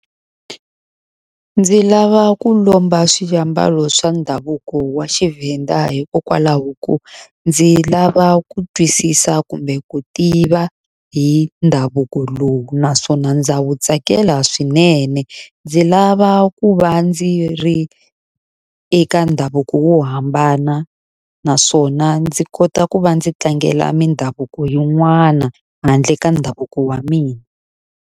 Ndzi lava ku lomba swiambalo swa ndhavuko wa xiVenda hikokwalaho ko, ndzi lava ku twisisa kumbe ku tiva hi ndhavuko lowu naswona ndza wu tsakela swinene. Ndzi lava ku va ndzi ri eka ndhavuko wo hambana naswona ndzi kota ku va ndzi tlangela mindhavuko yin'wana, handle ka ndhavuko wa mina.